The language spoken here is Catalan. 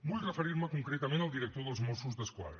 vull referir me concretament al director dels mossos d’esquadra